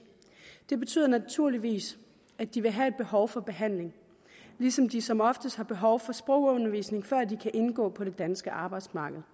det betyder naturligvis at de vil have behov for behandling ligesom de som oftest har behov for sprogundervisning før de kan indgå på det danske arbejdsmarked